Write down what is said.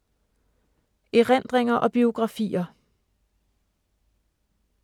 Erindringer og biografier